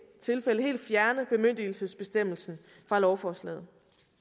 tilfælde helt fjerne bemyndigelsesbestemmelsen fra lovforslaget